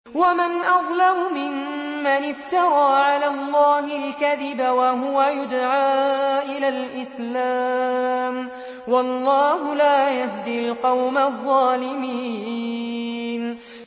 وَمَنْ أَظْلَمُ مِمَّنِ افْتَرَىٰ عَلَى اللَّهِ الْكَذِبَ وَهُوَ يُدْعَىٰ إِلَى الْإِسْلَامِ ۚ وَاللَّهُ لَا يَهْدِي الْقَوْمَ الظَّالِمِينَ